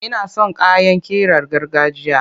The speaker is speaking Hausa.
Ina son kayan ƙirar gargajiya.